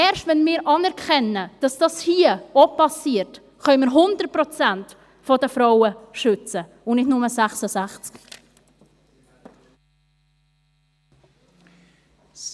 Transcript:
Erst wenn wir anerkennen, dass dies auch hier passiert, können wir 100 Prozent der Frauen schützen und nicht nur 66 Prozent.